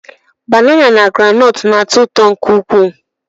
Banana na groundnut na-atọ ụtọ nke ukwuu